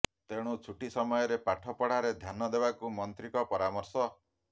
ତେଣୁ ଛୁଟି ସମୟରେ ପାଠ ପଢ଼ାରେ ଧ୍ୟାନ ଦେବାକୁ ମନ୍ତ୍ରୀଙ୍କ ପରାମର୍ଶ